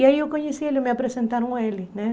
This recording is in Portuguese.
E aí eu conheci ele, me apresentaram a ele, né?